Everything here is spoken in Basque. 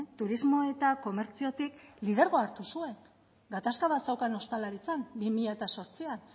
turismo eta komertziotik lidergoa hartu zuen gatazka bat zeukan ostalaritzan bi mila zortzian